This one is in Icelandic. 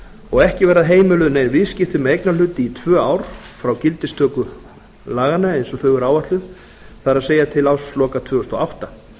og ekki verða heimiluð nein viðskipti með eignarhluti í tvö ár frá gildistöku laganna eins og þau eru áætluð það er til ársloka tvö þúsund og átta